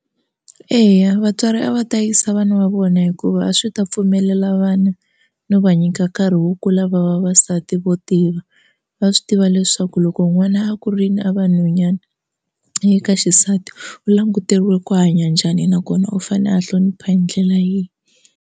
Eya vatswari a va ta yisa vana va vona hikuva a swi ta pfumelela vana no va nyika nkarhi wo kula va va vasati vo tiya va swi tiva leswaku loko n'wana a kurini a va nhwanyani ka xisati u languteriwe ku hanya njhani nakona u fane a hlonipha hi ndlela yihi.